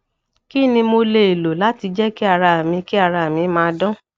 kí ni mo lè lo láti jẹ kí ara mi kí ara mi ma dan